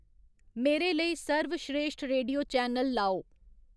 मेरे लेई सर्वश्रेश्ठ रेडियो चैनल लाओ